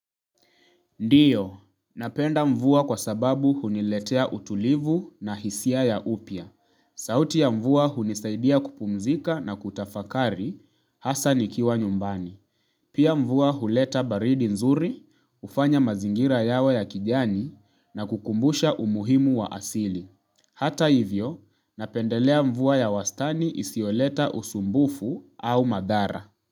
Ndio, napenda mvua kwa sababu huniletea utulivu na hisia ya upya. Sauti ya mvua hunisaidia kupumzika na kutafakari, hasa nikiwa nyumbani. Pia mvua huleta baridi nzuri, hufanya mazingira yawe ya kijani na kukumbusha umuhimu wa asili. Hata hivyo, napendelea mvua ya wastani isiyoleta usumbufu au madhara.